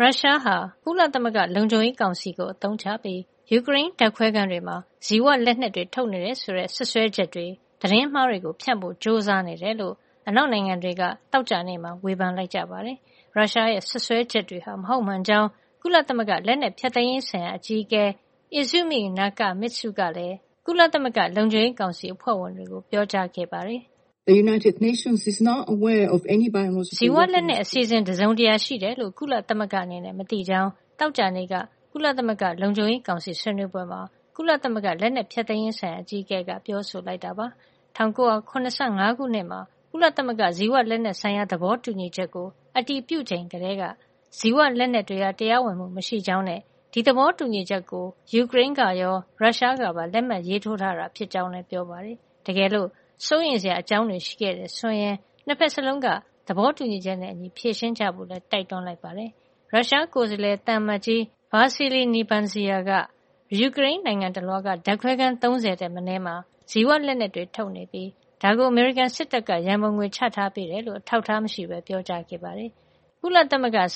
ရုရှားဟာ ကုလသမဂ္ဂလုံခြုံရေးကောင်စီကို အသုံးချပြီး ယူကရိန်းဓါတ်ခွဲခန်းတွေမှာ ဇီဝလက်နက်တွေ ထုတ်နေတယ်ဆိုတဲ့ စွပ်စွဲချက်ေတွေ သတင်းမှားတွေကို ဖြန့်ဖို့ ကြိုးစားနေတယ်လို့ အနောက်နိုင်ငံတွေက သောကြာနေ့မှာ ဝေဖန်လိုက်ကြပါတယ်။ ရုရှားရဲ့ စွပ်စွဲချက်တွေဟာ မဟုတ်မှန်ကြောင်း ကုလသမဂ္ဂ လက်နက်ဖျက်သိမ်းရေးဆိုင်ရာ အကြီးအကဲ Izumi Nakamitsu ကလည်း ကုလသမဂ္ဂ လုံခြုံရေးကောင်စီ အဖွဲ့ဝင်တွေကို ပြောကြားခဲ့ပါတယ်။ “ဇီဝလက်နက်အစီအစဉ် တစုံတရာရှိတယ်လို့ ကုလသမဂ္ဂအနေနဲ့ မသိကြောင်း” သောကြာနေ့က ကုလသမဂ္ဂ လုံခြုံရေးကောင်စီ ဆွေးနွေးပွဲမှာ ကုလသမဂ္ဂ လက်နက်ဖျက်သိမ်းရေးဆိုင်ရာ အကြီးအကဲက ပြောဆိုလိုက်တာပါ။ ၁၉၇၅ ခုနှစ်မှာ ကုလသမဂ္ဂ ဇီဝလက်နက်ဆိုင်ရာ သဘောတူညီချက် (Biological Weapons Convention) ကို အတည်ပြုချိန်ကတည်းက ဇီဝလက်နက်တွေဟာ တရားဝင်မှု မရှိကြောင်းနဲ့ ဒီသဘောတူညီချက်ကို ယူကရိန်းကရော ရုရှားကပါ လက်မှတ်ရေးထိုးထားတာ ဖြစ်ကြောင်းလည်း ပြောပါတယ်။ တကယ်လို့ စိုးရိမ်စရာအကြောင်းတွေ ရှိတယ်ဆိုရင်လည်း ၂ ဖက်စလုံးက သဘောတူညီချက်နဲ့အညီ ဖြေရှင်းကြဖို့လည်း တိုက်တွန်းလိုက်ပါတယ်။ သောကြာနေ့ လုံခြုံရေးကောင်စီအစည်းဝေးမှာ ရုရှားကိုယ်စားလှယ် သံအမတ်ကြီး Vassily Nebenzia က ယူကရိန်းနိုင်ငံတလွှားက ဓါတ်ခွဲခန်း ၃ဝ ထက်မနည်းမှာ ဇီဝလက်နက်တွေထုတ်နေပြ ီး ဒါကို အမေရိကန်စစ်တပ်က ရံပုံငွေချထားပေးကြေ ာင်း အထောက်ထား မရှိပဲ ပြောကြားခဲ့တာပါ။ ကုလ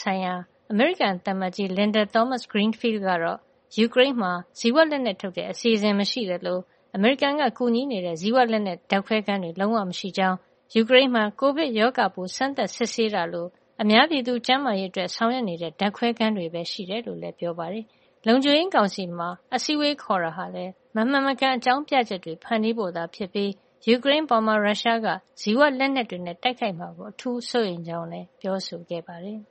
ဆိုင်ရာ အမေရိကန်သံအမတ်ကြီး Linda Thomas-Greenfield ကတော့ ယူကရိန်းမှာ ဇီဝလက်နက်ထုတ်တဲ့ အစီစဉ်မရှိသလို၊ အမေရိကန်က ကူညီနေတဲ့ ဇီဝလက်နက် ဓာတ်ခွဲခန်းတွေလည်း လုံးဝမရှိကြောင်း အပြင်းအထန် ငြင်းဆန်ခဲ့တာပါ။ ယူကရိန်းမှာ ကိုဗစ်ရောဂါပိုး စမ်းသပ်စစ်ဆေးတာလို အများပြည်သူ ကျန်းမာရေးအတွက် ဆောင်ရွက်နေတဲ့ ဓာတ်ခွဲခန်းတွေပဲ ရှိတယ်လို့လည်း ပြောဆိုခဲ့ပါတယ်။ လုံခြုံရေးကောင်စီမှာ အစည်းအဝေးခေါ်တာဟာလည်း မမှန်မကန် အကြောင်းပြချက်တွေ ဖန်တီးဖို့သာဖြစ်ပြီး၊ ယူကရိန်းအပေါ် ရုရှားက ဇီဝလက်နက်တွေနဲ့ တိုက်ခိုက်မှာကို အထူးစိုးရိမ်ကြောင်းလည်း ပြောဆိုခဲ့ပါတယ်။